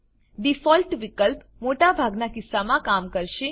default વિકલ્પ મોટા ભાગનાં કિસ્સામાં કામ કરશે